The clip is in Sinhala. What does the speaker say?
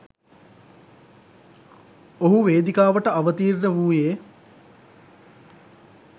ඔහු වේදිකාවට අවතීර්ණ වූයේ.